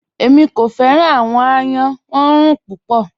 Ẹ̀mí kò fẹ́ran awọn àyán, wọ́n gbọ́ ọ̀orun púpọ̀.